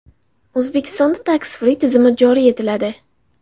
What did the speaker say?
O‘zbekistonda Tax Free tizimi joriy etiladi.